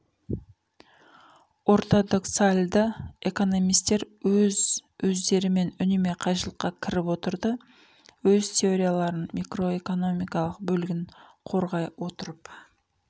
ортодоксалды экономисттер өз өздерімен үнемі қайшылықа кіріп отырды өз теорияларын микроэкономикалық бөлігін қорғай отырып